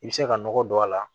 I bɛ se ka nɔgɔ don a la